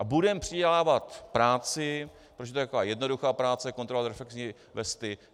A budeme přidělávat práci, protože to je taková jednoduchá práce, kontrolovat reflexní vesty.